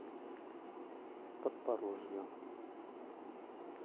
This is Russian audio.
подпорожью